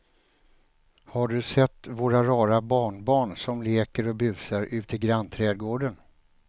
Har du sett våra rara barnbarn som leker och busar ute i grannträdgården!